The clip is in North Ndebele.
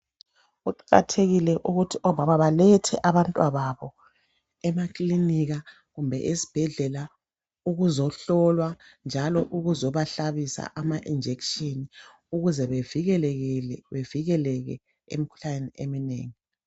Kuqakathekile ukuthi omama balethe abantwababo emakilinika kumbe ezibhedlela ukuzohlolwa njalo ukuzobahlabisa ama injection ukuze bevikeleke emkhuhlaneni eminengi.